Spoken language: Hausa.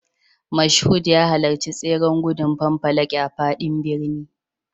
Mashood ya halarci tseren gudun fanfalaki a faɗin birni.